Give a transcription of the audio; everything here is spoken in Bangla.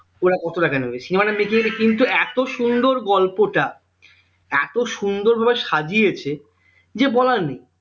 ওরা কত টাকা নেবে? cinema টা making কিন্তু এত সুন্দর গল্পটা এত সুন্দর ভাবে সাজিয়েছে যে বলার নেই